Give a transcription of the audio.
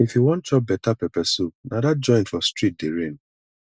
if you wan chop better pepper soup na dat joint for street dey reign